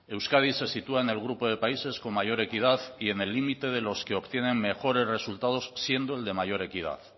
euskadi se sitúa en el grupo de países con mayor equidad y en el límite de los que obtienen mejores resultados siendo el de mayor equidad